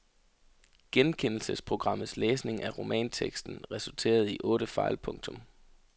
Genkendelsesprogrammets læsning af romanteksten resulterede i otte fejl. punktum